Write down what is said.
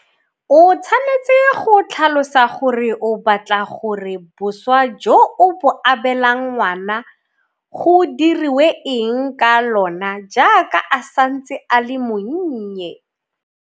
O tshwanetse go tlhalosa gore o batla gore boswa jo o bo abelang ngwana go diriwe eng ka lona jaaka a santse a le monnye.